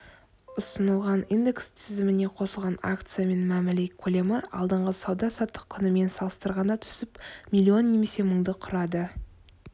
ұсынылған индекс тізіміне қосылған акциямен мәміле көлемі алдыңғы сауда-саттық күнімен салыстырғанда түсіп миллион немесе мыңды құрады